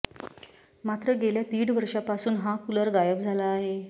मात्र गेल्या दीड वर्षापासून हा कुलर गायब झाला आहे